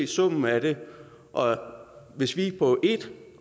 summen af dem og hvis vi på ét